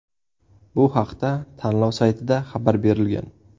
Bu haqda tanlov saytida xabar berilgan.